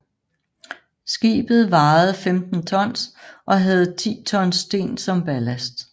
Skibet vejede 15 tons og havde 10 tons sten som ballast